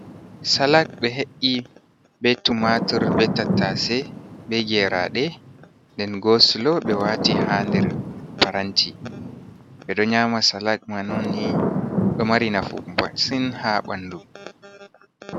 Salak ɓe he’i be tumatur, be tattase be geeraɗe nden goosulo ɓe waati ha nder paranti. Ɓe ɗo nyama salak man onni, ɗo mari nafu masin ha ɓandu.